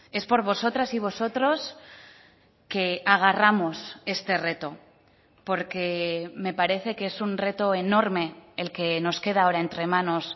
es por vosotras y vosotros que agarramos este reto porque me parece que es un reto enorme el que nos queda ahora entre manos